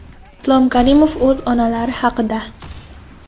Islom Karimov o‘z onalari haqida .